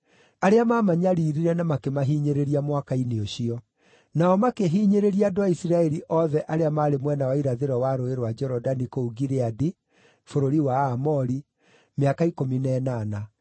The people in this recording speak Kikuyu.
arĩa maamanyariirire na makĩmahinyĩrĩria mwaka-inĩ ũcio. Nao makĩhinyĩrĩria andũ a Isiraeli othe arĩa maarĩ mwena wa irathĩro wa Rũũĩ rwa Jorodani kũu Gileadi, bũrũri wa Aamori, mĩaka ikũmi na ĩnana.